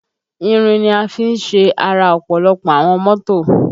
Ìrìn ni a fi ṣe ara ọ̀pọ̀lọpọ̀ àwọn mọ́tò